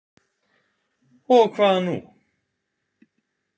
Og hvað nú?